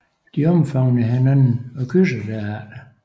De omfavner hinanden og kysser derefter